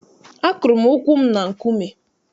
Akụrụ m ụkwụ m na nkume.